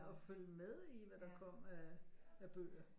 Og følge med i hvad der kom af bøger